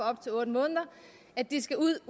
op til otte måneder at de skal ud